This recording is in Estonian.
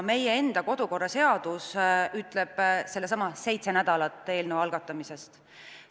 Meie enda kodukorraseadus ütleb sedasama: seitse nädalat eelnõu algatamisest.